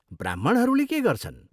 ब्राह्मणहरूले के गर्छन्?